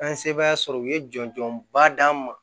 An ye sebaaya sɔrɔ u ye jɔnjɔnba d'an ma